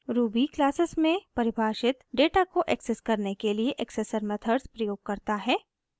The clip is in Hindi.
ruby क्लासेस में परिभाषित डेटा को एक्सेस करने के लिए accessor methods प्रयोग करता है